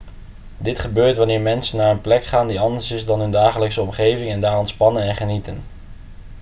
dit gebeurt wanneer mensen naar een plek gaan die anders is dan hun dagelijkse omgeving en daar ontspannen en genieten